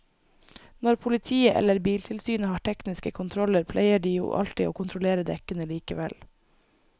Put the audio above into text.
Når politiet eller biltilsynet har tekniske kontroller pleier de jo alltid å kontrollere dekkene likevel.